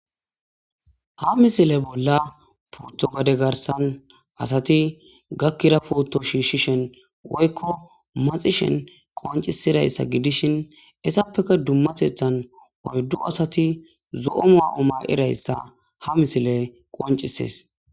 Ha misile bolla puttogade garsan asati gakkira putto shiishshishen woykko maxishen qoncisidayssa gidishin essappeka dummasethan oyddu asati zo'omoa omaqidayssa ha misile qoncisees.